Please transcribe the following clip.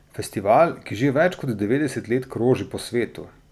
Festival, ki že več kot devetdeset let kroži po svetu.